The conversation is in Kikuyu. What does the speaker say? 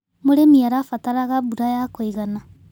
Mũrĩmi arabataraga mbura ya kũigana.